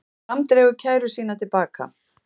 Fram dregur kæru sína til baka